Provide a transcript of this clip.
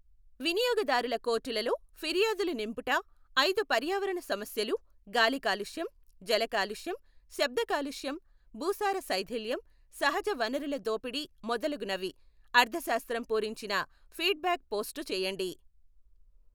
వినియోగదారుల కోర్టులల్లో ఫిర్యాదులు నింపుట ఐదు పర్యావరణ సమస్యలు, గాలి కాలుష్యం, జలకాలుష్యం, శబ్దకాలుష్యం, భూసార శైథిల్యం, సహజ వనరుల దోపిడీ మొదలగునవి. అర్ధశాస్త్రం పూరించిన ఫీడ్బ్యాక్ పోస్టు చేయండి.